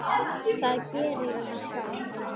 Það geri ég sjálf.